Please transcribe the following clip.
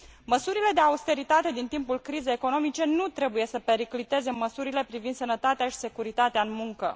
Măsurile de austeritate din timpul crizei economice nu trebuie să pericliteze măsurile privind sănătatea și securitatea în muncă.